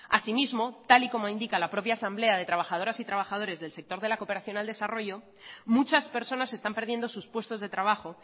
asimismo tal y como indica la propia asamblea de trabajadoras y trabajadores del sector de la cooperación al desarrollo muchas personas están perdiendo sus puestos de trabajo